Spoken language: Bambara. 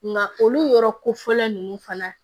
Nka olu yɔrɔ kofɔlen ninnu fana